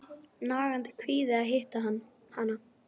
Nagandi kvíði að hitta hana.